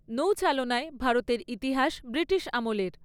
নৌচালনায় ভারতের ইতিহাস ব্রিটিশ আমলের।